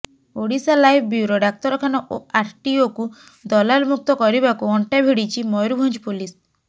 Odisha live bureau ଡାକ୍ତରଖାନା ଓ ଆରଟିଓକୁ ଦଲାଲମୁକ୍ତ କରିବାକୁ ଅଣ୍ଟାଭିଡ଼ିଛି ମୟୂରଭଞ୍ଜ ପୋଲିସ